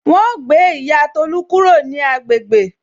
Wọn ó gbé ìyá Tolu kúrò ní agbègbè